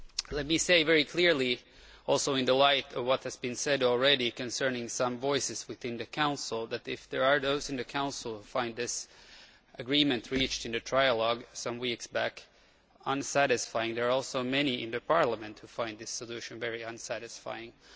Let me say very clearly also, in the light of what has been said already concerning some voices within the Council, that, if there are those in the Council who find this agreement reached in the trialogue some weeks back unsatisfactory, there are also many in Parliament who find this solution very unsatisfactory.